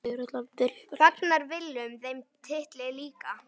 Fagnar Willum þeim titli líka?